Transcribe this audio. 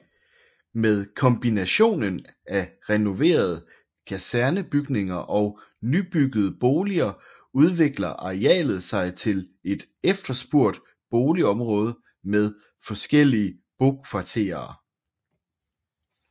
Med kombinationen af renoverede kasernebygninger og nybyggede boliger udvikler arealet sig til et efterspurgt boligområde med forskellige bokvarterer